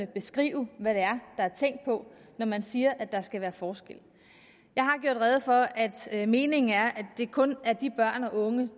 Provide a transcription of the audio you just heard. beskrive hvad det er der er tænkt på når man siger at der skal være forskel jeg har gjort rede for at meningen er at det kun er de børn og unge